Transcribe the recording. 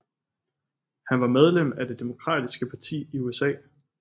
Han var medlem af Det Demokratiske Parti i USA